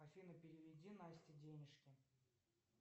афина переведи насте денежки